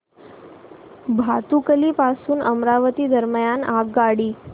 भातुकली पासून अमरावती दरम्यान आगगाडी